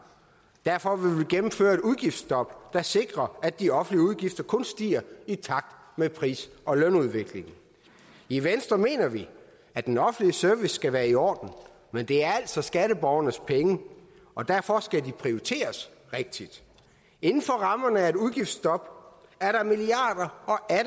derfor vil vi gennemføre et udgiftsstop der sikrer at de offentlige udgifter kun stiger i takt med pris og lønudviklingen i venstre mener vi at den offentlige service skal være i orden men det er altså skatteborgernes penge og derfor skal de prioriteres rigtigt inden for rammerne af et udgiftsstop er der milliarder